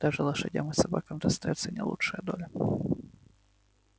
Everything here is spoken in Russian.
даже лошадям и собакам достаётся не лучшая доля